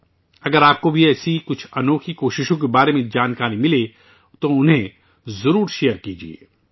اگر آپ کو بھی ایسی ہی کچھ انوکھی کوششوں کے بارے میں معلومات ملتی ہے تو انھیں ضرور شیئر کریں